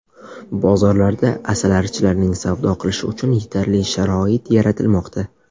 Bozorlarda asalarichilarning savdo qilishi uchun yetarli sharoit yaratilmoqda.